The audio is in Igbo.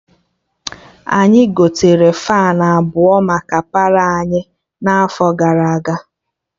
Anyị gotere Faanụ abụọ maka Palọ anyị n'afọ gara aga